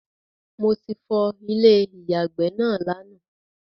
Mo ti fọ Ilé ìyàgbẹ́ náà lánàá